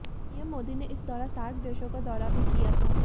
PM Modi ने इस दौरा सार्क देशों का दौरा भी किया था